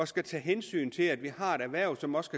skulle tage hensyn til at vi har et erhverv som også